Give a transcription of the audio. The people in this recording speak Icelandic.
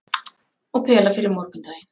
Og pela fyrir morgundaginn.